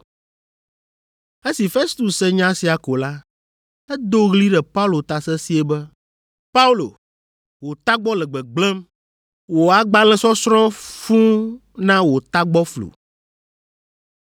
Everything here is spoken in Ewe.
Esi Festus se nya sia ko la, edo ɣli ɖe Paulo ta sesĩe be, “Paulo, wò tagbɔ le gbegblẽm; wò agbalẽsɔsrɔ̃ fũu na wò tagbɔ flu.”